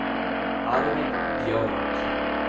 Arvid Björk